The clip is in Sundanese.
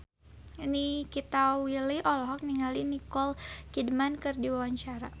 Nikita Willy olohok ningali Nicole Kidman keur diwawancara